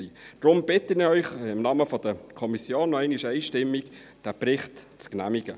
Deshalb bitte ich Sie im Namen der Kommission noch einmal einstimmig, diesen Bericht zu genehmigen.